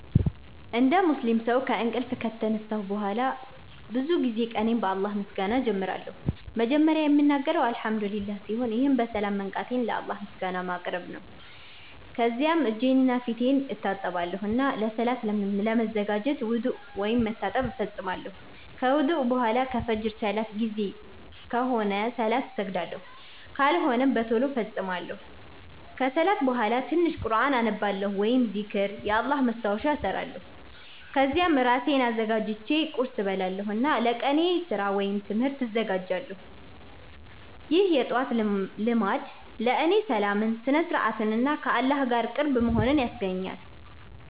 እንደ ሙስሊም ሰው ከእንቅልፍ ከተነሳሁ በኋላ ብዙ ጊዜ ቀኔን በአላህ ምስጋና እጀምራለሁ። መጀመሪያ የምናገረው “አልሐምዱሊላህ” ሲሆን ይህም በሰላም መንቃቴን ለአላህ ምስጋና ማቅረብ ነው። ከዚያም እጄንና ፊቴን እታጠባለሁ እና ለሰላት ለመዘጋጀት ውዱእ (መታጠብ) እፈጽማለሁ። ከውዱእ በኋላ ከፍጅር ሰላት ጊዜ ከሆነ ሰላት እሰግዳለሁ፣ ካልሆነም በቶሎ እፈጽማለሁ። ከሰላት በኋላ ትንሽ ቁርኣን አነባለሁ ወይም ዚክር (የአላህ ማስታወሻ) እሰራለሁ። ከዚያም እራሴን አዘጋጅቼ ቁርስ እበላለሁ እና ለቀኔ ስራ ወይም ትምህርት እዘጋጃለሁ። ይህ የጠዋት ልማድ ለእኔ ሰላምን፣ ስነ-ስርዓትን እና ከአላህ ጋር ቅርብ መሆንን ያስገኛል።